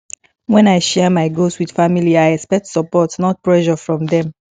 when i share my goals with family i expect support not pressure from them